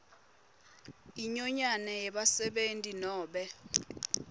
inyonyane yebasebenti nobe